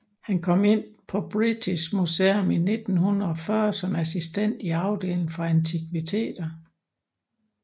Han kom ind på British Museum i 1840 som assistent i afdelingen for antikviteter